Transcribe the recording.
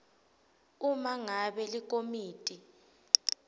uma ngabe likomiti